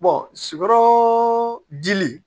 dili